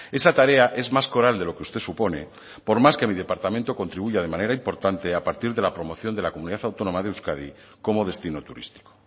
esa tarea es más coral de lo que usted supone por más que mi departamento contribuya de manera importante a partir de la promoción de la comunidad autónoma de euskadi como destino turístico